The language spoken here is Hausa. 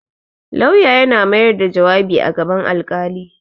Laura yana mayar da jawabi a gaban alƙali.